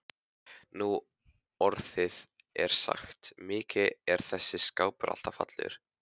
Nú orðið er sagt: Mikið er þessi kápa alltaf falleg